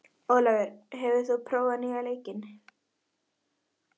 Ólafur, hefur þú prófað nýja leikinn?